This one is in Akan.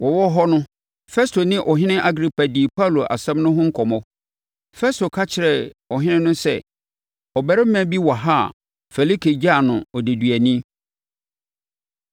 Wɔwɔ hɔ no, Festo ne Ɔhene Agripa dii Paulo asɛm no ho nkɔmmɔ. Festo ka kyerɛɛ ɔhene no sɛ, “Ɔbarima bi wɔ ha a Felike gyaa no odeduani;